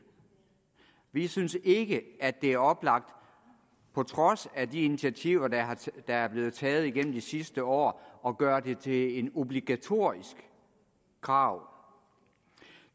vi synes ikke at det er oplagt på trods af de initiativer der er blevet taget gennem de sidste år at gøre det til et obligatorisk krav